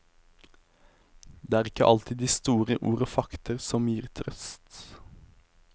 Det er ikke alltid de store ord og fakter som gir trøst.